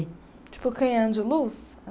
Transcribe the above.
Tipo canhão de luz?